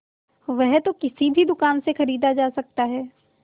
वह तो किसी भी दुकान से खरीदा जा सकता है